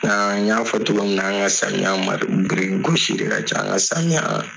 A n y'a fɔ togo min na an ka samiya birikigosi de ka ca nga samiya.